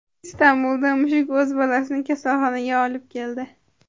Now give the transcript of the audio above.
Istanbulda mushuk o‘z bolasini kasalxonaga olib keldi.